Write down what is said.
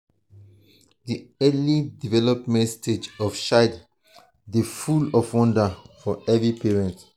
di early development stage of child dey full of wonder for every parent.